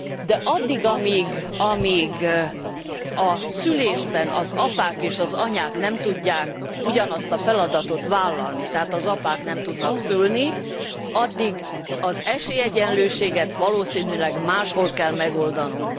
De addig, amíg a szülésben az apák és az anyák nem tudják ugyanazt a feladatot vállalni, tehát az apák nem tudnak szülni, addig az esélyegyenlőséget valószínűleg máshol kell megoldanunk.